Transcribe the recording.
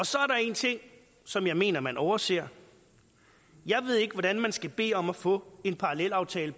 så er der en ting som jeg mener man overser jeg ved ikke hvordan man skal bede om at få en parallelaftale